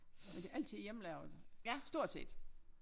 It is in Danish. Men det altid hjemmelavet stort set